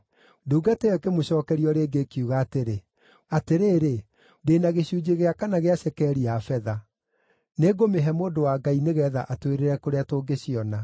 Ndungata ĩyo ĩkĩmũcookeria o rĩngĩ, ĩkiuga atĩrĩ, “Atĩrĩrĩ, ndĩ na gĩcunjĩ gĩa kana gĩa cekeri ya betha. Nĩngũmĩhe mũndũ wa Ngai nĩgeetha atwĩrĩre kũrĩa tũngĩciona.”